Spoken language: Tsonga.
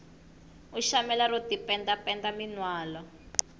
u shamela ro tipenda penda minwalo